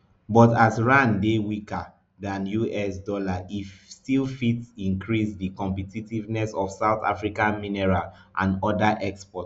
but as rand dey weaker dan us dollar e still fit increase di competitiveness of south african mineral and oda exports